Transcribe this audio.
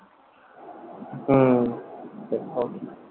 হুম